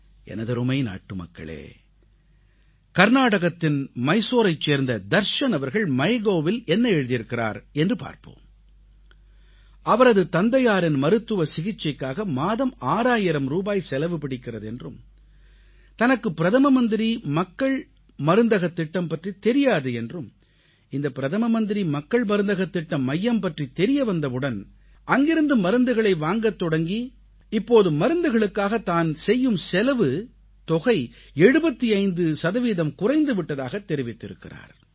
எனதருமை நாட்டுமக்களே கர்நாடகத்தின் மைசூரைச் சேர்ந்த தர்ஷன் அவர்கள் MyGovஇல் என்ன எழுதியிருக்கிறார் என்று பார்ப்போம் அவரது தந்தையாரின் மருத்துவ சிகிச்சைக்காக மாதம் 6000 ரூபாய் செலவு பிடிக்கிறது என்றும் தனக்கு பிரதமர் மக்கள் மருந்தகத் திட்டம் பற்றித் தெரியாது என்றும் இந்த பிரதமர் மக்கள் மருந்தகத் திட்ட மையம் பற்றித் தெரியவந்தவுடன் அங்கிருந்து மருந்துகளை வாங்கத் தொடங்கி இப்போது மருந்துகளுக்காகத் தான் செலவு செய்யும் தொகை 75 சதவீதம் குறைந்து விட்டதாகத் தெரிவித்திருக்கிறார்